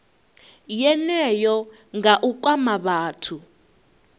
yeneyo nga u kwama vhathu